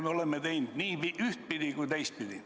Me oleme teinud nii ühtpidi kui ka teistpidi.